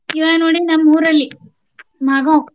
ಇವಾಗ್ ನೋಡ್ರಿ ನಮ್ ಊರಲ್ಲಿ ಮಾಗಾವ್.